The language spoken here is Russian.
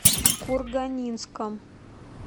курганинском